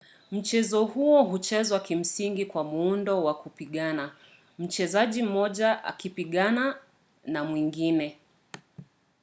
mchezo huo huchezwa kimsingi kwa muundo wa kupigana mchezaji mmoja akipigana na mwingine